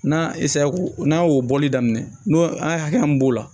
N'a n'a y'o bɔli daminɛ n'o an ka hakɛ mun b'o la